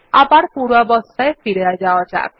আবার পূর্বাবস্থায় ফিরে যাওয়া যাক